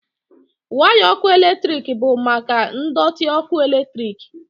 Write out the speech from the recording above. waya ọkụ eletrik bụ maka ndọtị ọkụ eletrik